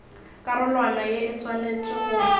karolwana ya e swanetše go